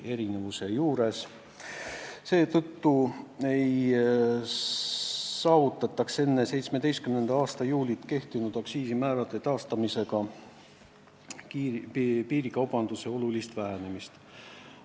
Ollakse seisukohal, et enne 2017. aasta juulit kehtinud aktsiisimäärade taastamisega ei saavutataks piirikaubanduse olulist vähenemist.